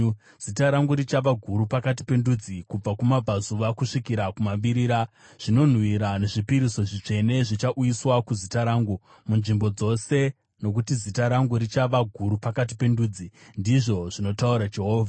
Zita rangu richava guru pakati pendudzi, kubva kumabvazuva kusvikira kumavirira. Zvinonhuhwira nezvipiriso zvitsvene zvichauyiswa kuzita rangu munzvimbo dzose, nokuti zita rangu richava guru pakati pendudzi,” ndizvo zvinotaura Jehovha.